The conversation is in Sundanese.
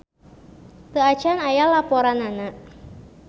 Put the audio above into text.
Teu acan aya laporanana.